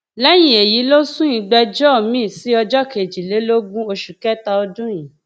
lẹyìn èyí ló sún ìgbẹjọ miín sí ọjọ kejìlélógún oṣù kẹta ọdún yìí